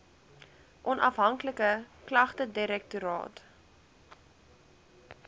onafhanklike klagtedirektoraat